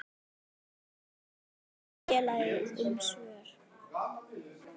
Þær krefja félagið um svör.